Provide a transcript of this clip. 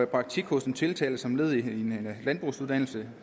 praktik hos den tiltalte som et led i hendes landbrugsuddannelse